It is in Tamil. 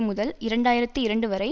முதல் இரண்டு ஆயிரத்தி இரண்டு வரை